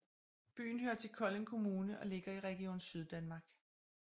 Byen hører til Kolding Kommune og ligger i Region Syddanmark